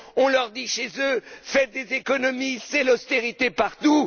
On leur dit chez eux Faites des économies, c'est l'austérité partout!.